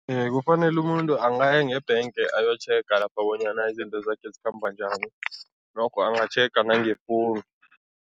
Kufanele umuntu angaye ngebhenge ayotjhega lapha bonyana izinto zakhe zikhamba njani, lokho angatjhega nangefowunu.